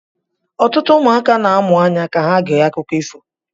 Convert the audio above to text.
Ọtụtụ ụmụaka na-amụ anya ka ha gee akụkọ ifo